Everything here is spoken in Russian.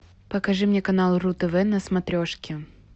покажи мне канал ру тв на смотрешке